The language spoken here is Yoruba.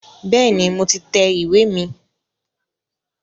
Bẹ́ẹ̀ni, mo ti tẹ ìwé mi